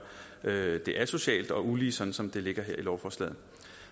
det asocialt og ulige sådan som det ligger her i lovforslaget